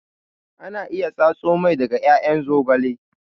Ana iya tsatso mai daga ƴaƴan zogale